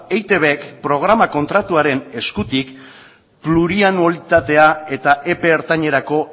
eitbk programa kontratuaren eskutik plurianualitatea eta epe ertainerako